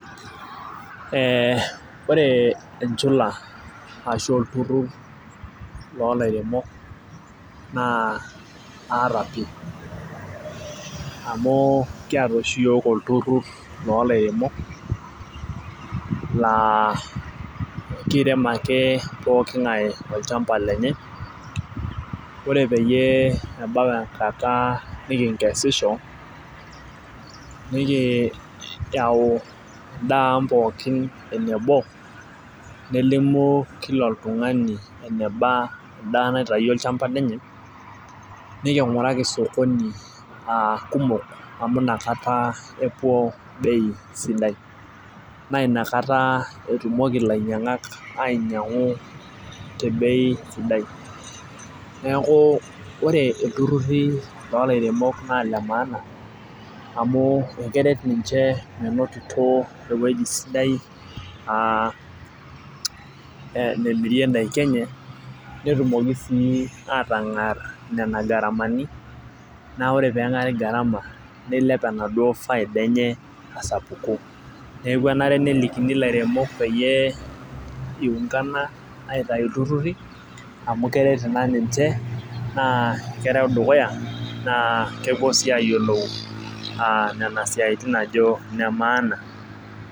Ee ore enchula ashu olturur loo lairemok naa aata pii, amu kiata oshi iyiool olturur loo lairemok laa kirem ake pookingae olchampa lenye ore peyie ebau enkata niinkesisho, nikiyau edaa ang pookin enebo. nelimu Kila oltungani enaba edaa naitayio olchampa lenye, nikinguraki sokoni kumok amu inakata, epuo bei sidai. naa inakata etumoki ilainyangak ainyiangu te bei sidai. neeku ore iltururi loo lairemok naa Ile maana amu keret ninche menotito ewueji sidai, aa nemirie daikin enye. netumoki sii aatangar Nena garamani. naa ore pee egari garama nilep enaduoo faida enye asapuku. neeku enare nelikini ilaremok peyie iungana aitayu iltururi amu keret Ina ninche naa kereu dukuya naa kepuo sii aayiolou aa Nena siatin ajo ine maana.